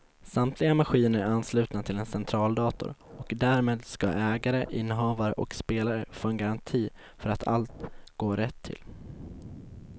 Samtliga maskiner är anslutna till en centraldator och därmed ska ägare, innehavare och spelare få en garanti för att allt går rätt till.